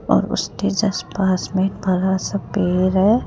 और उसके जस्ट पास में एक बड़ा सा पेड़ है।